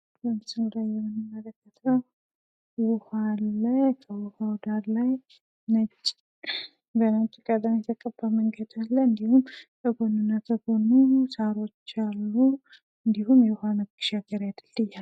በምስሉ ላይ የምንመለከተው ውሃ አለ። ከውሃው በነጭ ቀለም የተቀባ መንገድ አለ። እንድሁም በጎንና በጎኑ ሳሮች አሉ። እንድሁም የውሃ መሻገሪያ ድልድይ አለ።